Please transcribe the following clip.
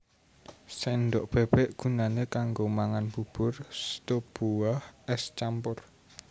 Sendhok bébék gunané kanggo mangan bubur stup buah ès campur